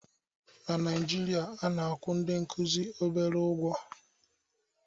na Naijirịa ndị nkuzi bụ obere ụgwọ